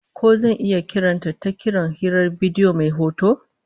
Ko zan iya kiran ta ta kiran hirar bidiyo mai hoto?